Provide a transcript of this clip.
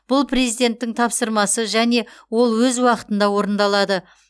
бұл президенттің тапсырмасы және ол өз уақытында орындалады